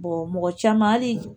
mɔgɔ caman hali